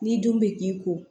Ni dun bɛ k'i ko